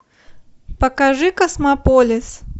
покажи космополис